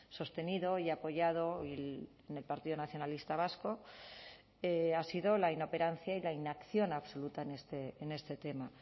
sostenido y apoyado en el partido nacionalista vasco ha sido la inoperancia y la inacción absoluta en este tema